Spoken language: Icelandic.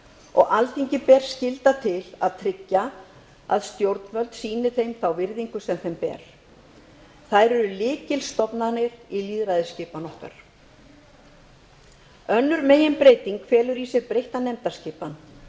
og alþingi ber skylda til að tryggja að stjórnvöld sýni þeim þá virðingu sem þeim ber þær eru lykilstofnanir í lýðræðisskipan okkar önnur meginbreytingin felur í sér breytta nefndaskipan